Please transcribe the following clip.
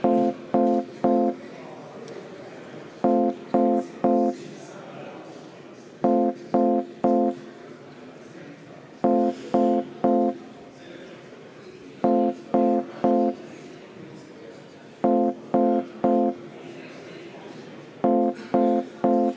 Austatud Riigikogu, kuna otsuse tegemiseks on vajalik Riigikogu koosseisu häälteenamus, siis teeme palun kohaloleku kontrolli!